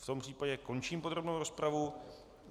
V tom případě končím podrobnou rozpravu.